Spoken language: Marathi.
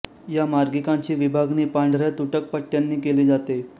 या मार्गिकांची विभागणी पांढऱ्या तुटक पट्टयांनी केली जाते